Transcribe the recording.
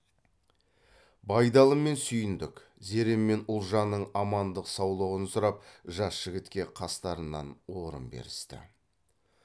байдалы мен сүйіндік зере мен ұлжанның амандық саулығын сұрап жас жігітке қастарынан орын берісті